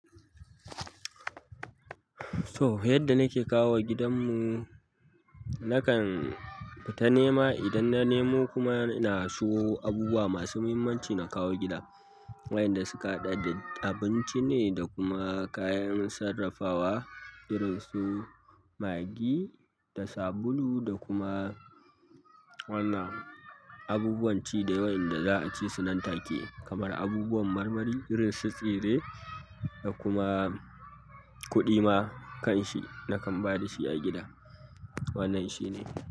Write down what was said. To yadda nake kawowa gidanmu, nakan fita nema. Idan na nemo kuma na siyo abubuwa masu mahimmanci na kawo gida. Waƴan da suka haɗa da abinci ne da kuma kayan sarrafawa. Irin su maggi da sabulu da kuma wannan abubuwan ci dai waƴan da za a ci su nan take kamar abubuwan marmari irin su tsire da kuma kuɗi ma kan shi nakan ba da shi a gida. Wannan shi ne.